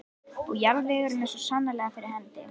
Og jarðvegurinn er svo sannarlega fyrir hendi.